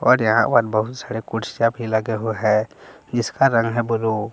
और यहां पर बहुत सारे कुर्सियां भी लगे हुए हैं जिसका रंग है ब्लू ।